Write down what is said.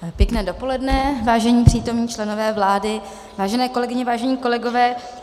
Pěkné dopoledne, vážení přítomní členové vlády, vážené kolegyně, vážení kolegové.